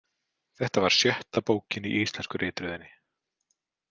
Þetta var sjötta bókin í íslensku ritröðinni.